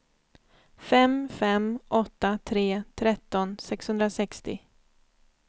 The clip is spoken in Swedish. fem fem åtta tre tretton sexhundrasextio